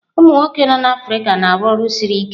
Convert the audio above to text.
Umụ nwoke nọ n'Africa na-arụ ọrụ siri ike.